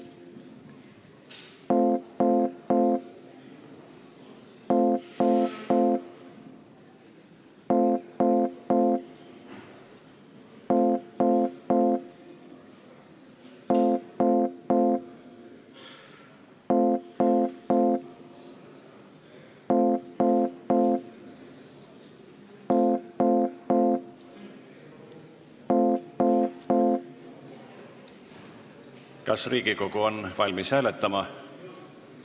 Kas Riigikogu on valmis hääletama?